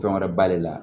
Fɛn wɛrɛ b'ale la